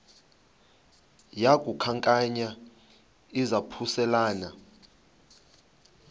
yaku khankanya izaphuselana